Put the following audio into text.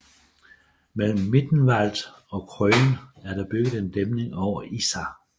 Mellem Mittenwald og Krün er der bygget en dæmning over Isar